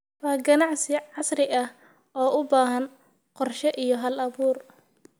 Waa ganacsi casri ah oo u baahan qorshe iyo hal-abuur.